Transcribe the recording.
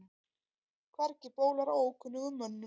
Hvergi bólar á ókunnugum mönnum.